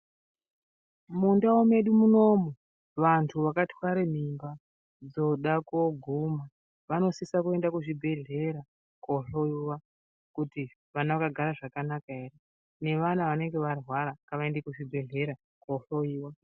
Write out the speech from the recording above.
Mundau mwedu munomu vantu vakatwara mimba dzoda kuguma anosisa kuenda kuzvibhehlera kundohloiwa kuti ana akagara zvakanaka ere. Neana anenge arwara ngavaende kuchibhehlera kundohloiwa.